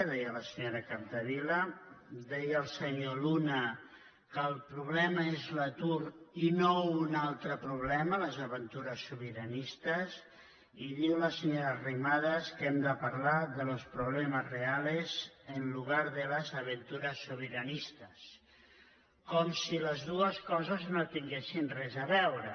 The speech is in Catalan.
deia la senyora capdevila deia el senyor luna que el problema és l’atur i no un altre problema les aventures sobiranistes i diu la senyora arrimadas que hem de parlar de los problemas reales en lugar de las aventuras soberanistas com si les dues coses no tinguessin res a veure